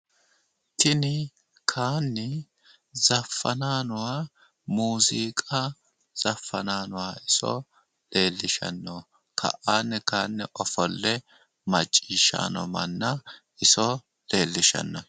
Tini kayiinni zaffanayi nooha muuziiqa zaffanayi nooha iso leellishanno. ka'anni kayiinni ofolle macciishshayi noo manna iso leellishanno.